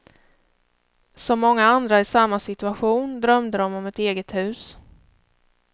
Som många andra i samma situation drömde de om ett eget hus.